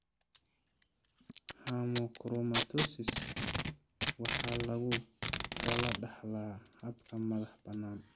Hemochromatosis waxaa lagu kala dhaxlaa hab madax-bannaan.